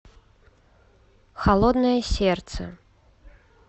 холодное сердце